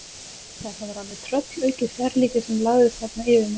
En þetta var alveg tröllaukið ferlíki sem lagðist þarna yfir mig.